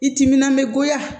I timinan bɛ goya